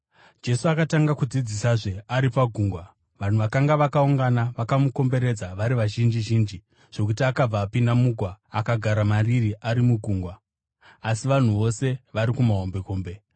Jesu akatanga kudzidzisazve ari pagungwa. Vanhu vakanga vakaungana vakamukomberedza vari vazhinji zhinji zvokuti akabva apinda mugwa akagara mariri ari mugungwa, asi vanhu vose vari kumahombekombe.